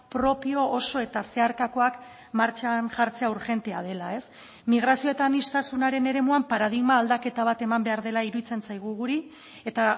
propio oso eta zeharkakoak martxan jartzea urgentea dela migrazio eta aniztasunaren eremuan paradigma aldaketa bat eman behar dela iruditzen zaigu guri eta